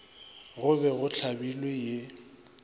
go be go hlabilwe ye